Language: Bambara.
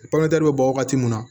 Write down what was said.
bɛ bɔ wagati mun na